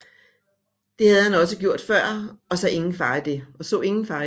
Det havde han også før gjort og så ingen fare i det